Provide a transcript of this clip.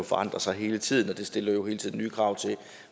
forandrer sig hele tiden og det stiller hele tiden nye krav til